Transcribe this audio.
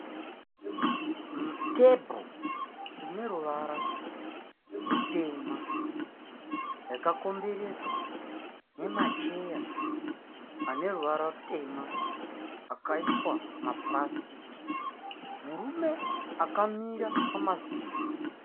Tebho ineruvara rutema yakakomberedzwa nemacheya aneruvara rutema akaiswa mumapurasitiki. Murume akamira pamasimbi.